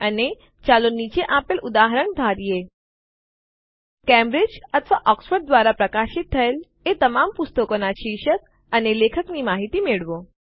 અને ચાલો નીચે આપેલ ઉદાહરણ ધારીએ કેમ્બ્રિજ અથવા ઓક્સફર્ડ દ્વારા પ્રકાશિત થયેલ એ તમામ પુસ્તકોનાં શીર્ષક અને લેખક માહિતી મેળવો